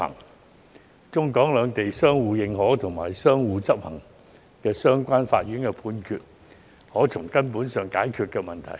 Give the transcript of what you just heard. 如中、港兩地可相互認可和執行相關的法院判決，便可從根本上解決問題。